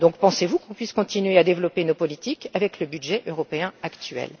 Pensez vous qu'on puisse continuer à développer nos politiques avec le budget européen actuel?